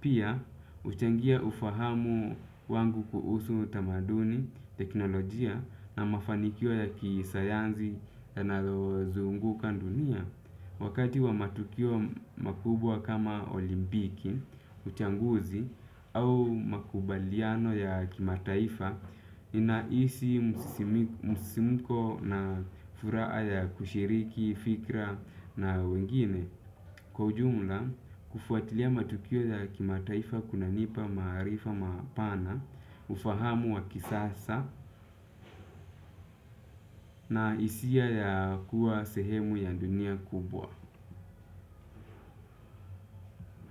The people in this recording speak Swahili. Pia, huchangia ufahamu wangu kuhusu tamaduni, teknolojia na mafanikio ya kisayansi yanalozunguka ndunia. Wakati wa matukio makubwa kama olimpiki, uchanguzi au makubaliano ya kimataifa ninaisi msisimuko na furaha ya kushiriki, fikra na wengine. Kwa ujumla, kufuatilia matukio ya kimataifa kunanipa maarifa mapana, ufahamu wa kisasa na hisia ya kua sehemu ya dunia kubwa.